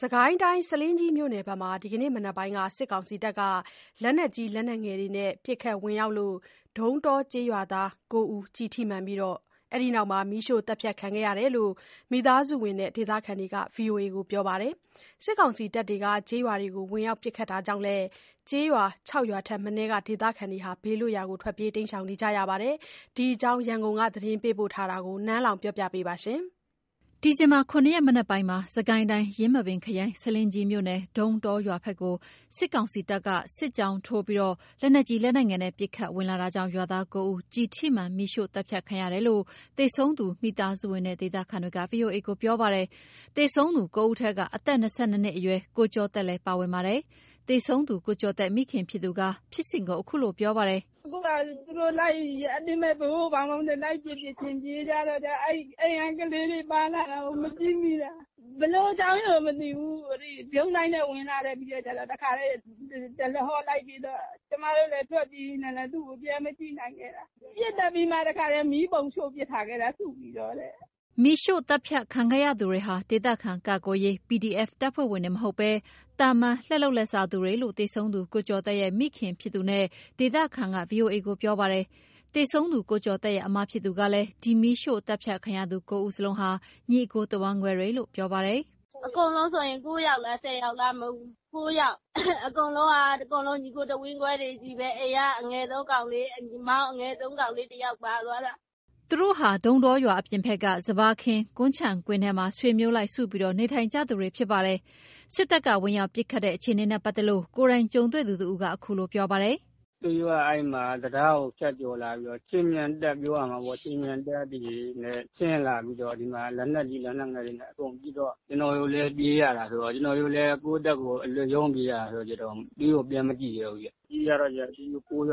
စစ်ကိုင်းတိုင်း ဆားလင်းကြီးမြို့နယ်ဘက်မှာ ဒီနေ့မနက်ပိုင်းက စစ်ကောင်စီက လက်နက်ကြီး လက်နက်ငယ်နဲ့ ပစ်ခတ်ဝင်ရောက်လို့ ဒုန်းတောကျေးရွာသား ၉ ဦး ကျည်ထိမှန်ပြီး အဲဒီနောက် မီးရှို့သတ်ဖြတ်ခံခဲ့ရတယ်လို့ မိသားစုဝင်နဲ့ ဒေသခံက ဗွီအိုအေကို ပြောပါတယ်။ စစ်ကောင်စီတပ်တွေ ကျေးရွာတွေကို ဝင်ရောက်ပစ်ခတ်တာကြောင့်လည်း ကျေးရွာ ၆ ရွာထက်မနည်းက ဒေသခံတွေ ဘေးလွတ်ရာကို ထွက်ပြေးနေကြရပါတယ်။ ဒီအကြောင်း ရန်ကုန်က သတင်းပေးပို့ထားတာကို နန်းလောဝ် ပြောပြပါမယ်။ ဒီဇင်ဘာ ၇ ရက် မနက်ပိုင်းမှာ စစ်ကိုင်းတိုင်း ယင်းမာပင်ခရိုင် ဆားလင်းကြီးမြို့နယ် ဒုန်းတောရွာဘက်ကို စစ်ကောင်စီတပ်က စစ်ကြောင်းထိုးပြီး လက်နက်ကြီး လက်နက်ငယ်နဲ့ ပစ်ခတ်ဝင်လာတာကြောင့် ရွာသား ၉ ဦး ကျည်ထိမှန် မီးရှို့သတ်ဖြတ်ခံရတယ်လို့ သေဆုံးသူ မိသားစုဝင်နဲ့ ဒေသခံတွေက ဗွီအိုအေကို ပြောပါတယ်။ သေဆုံးသူ ၉ ဦးထဲ အသက် ၂၂ နှစ်အရွယ် ကိုကျော်သက်လည်း ပါဝင်ပါတယ်။ သေဆုံးသူ ကိုကျော်သက် မိခင်ဖြစ်သူက ဖြစ်စဉ်ကို အခုလို ပြောပါတယ်။ “အခုဟာက သူတို့လိုက်ပြီး အတင်း လိုက်ပစ်ပစ်ချင်း ပြေးကြတော့ အိမ်က ကလေးတွေ ပါလာတာကို မကြည့်မိတာ။ ဘယ်လိုအကြောင်းကို မသိဘူး၊ ဗြုန်းဒိုင်းနဲ့ဝင်လာတာ၊ ပြီးတော့ကျတော့ တခါတည်း တရဟောလိုက်ပစ်တော့ ကျမတို့လည်း ထွက်ပြေးနေတာနဲ့ သူ့ကို ပြန်မကြည့်နိုင်ခဲ့တာ၊ ပစ်သတ်ပြီးမှ တခါတည်း မီးပုံရှုှို့ပစ်ထားခဲ့တာ စုပြီးတော့တဲ့။” မီးရှို့သတ်ဖြတ်ခံခဲ့ရသူများဟာ ဒေသခံကာကွယ်ရေး PDF တပ်ဖွဲ့ဝင်တွေ မဟုတ်ဘဲ သာမန် လက်လုပ်လက်စားသူတွေလို့ သေဆုံးသူ ကိုကျော်သက်ရဲ့ မိခင်ဖြစ်သူနဲ့ ဒေသခံက ဗွီအိုအေကို ပြောပါတယ်။ သေဆုံးသူ ကိုကျော်သက်ရဲ့ အစ်မဖြစ်သူကလည်း ဒီမီးရှို့သတ်ဖြတ်ခံရသူ ၉ ဦးစလုံးဟာ ညီအစ်ကို တဝမ်းကွဲတွေလို့ ပြောပါတယ်။ “အကုန်လုံး ၉ ယောက်လား၊ ၁၀ ယောက်လား၊ ၉ ယောက်။ အကုန်လုံးက ညီအစ်ကို တဝမ်းကွဲတွေကြီးပဲ၊ အိမ်က အငယ်ဆုံးကောင်လေး၊ မောင်အငယ်ဆုံး ကောင်လေးတယောက် ပါသွားတယ်။” သူတို့ဟာ ဒုန်းတောရွာအပြင်ဘက်က စပါးခင်း ကွမ်းခြံခင်းထဲမှာ ဆွေမျိုးလိုက် စုပြီး နေထိုင်ကြသူတွေ ဖြစ်ပါတယ်။ စစ်တပ်က ဝင်ရောက်ပစ်ခတ်တဲ့ အခြေအနေနဲ့ ပတ်သက်လို့ ကိုယ်တိုင်ကြုံတွေ့သူတဦးကလည်း အခုလို ပြောပါတယ်။ “သူတို့ အဲ့ဒီမှာ တံတားကို ဖြတ်ကျော်လာပြီးတော့ ခြေမြန်တပ်ပြောရမှာပေ့ါ၊ ခြေမြန်တပ်တွေနဲ့ ဆင်းလာပြီးတော့ ဒီမှာ လက်နက်ကြီး လက်နက်ငယ်တွေနဲ့ အကုန်ပစ်တော့ ကျနော်တို့လည်း ပြေးရတယ်ဆိုတော့၊ ကျနော်တို့လည်း ကိုယ့်အသက်ကို အလွတ်ရုန်းပြေးရတာ ခါကျတော့ သူတို့ကို ပြန်မကြည့်ရဲဘူးဗျ၊ ပြေးကြတော့ ဒီ ၉ ယော